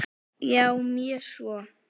Já, mjög svo.